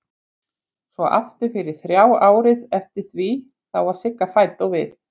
Svo aftur fyrir þrjá árið eftir því þá var Sigga fædd og við